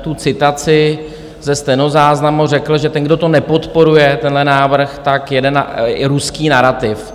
tu citaci ze stenozáznamu, řekl, že ten, kdo to nepodporuje, tenhle návrh, tak jede na ruský narativ.